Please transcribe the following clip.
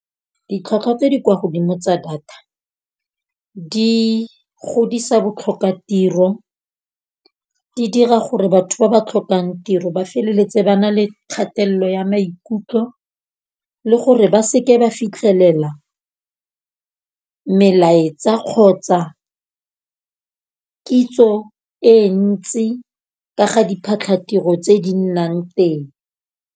Ditlhwatlhwa tse di kwa godimo tsa data di godisa botlhokatiro. Di dira gore batho ba ba tlhokang tiro ba feleletse ba na le kgatelelo ya maikutlo, le gore ba seke ba fitlhelela melaetsa kgotsa kitso e ntsi ka ga diphatlhatiro tse di nnang teng.